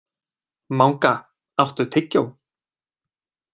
Manga, áttu tyggjó?